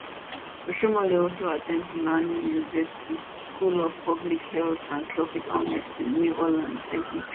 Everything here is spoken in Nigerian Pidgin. oshiomhole also at ten d tulane university school of public health and tropical medicine new orleans la